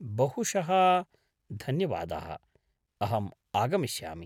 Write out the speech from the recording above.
बहुशः धन्यवादः, अहम् आगमिष्यामि।